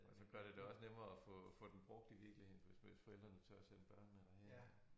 Og så gør det det også nemmere at få få den brugt i virkeligheden for hvis hvis forældrene tør sende børnene derhen